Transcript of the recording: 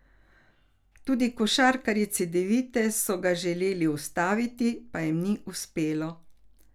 Tudi košarkarji Cedevite so ga želeli ustaviti, pa jim ni uspelo.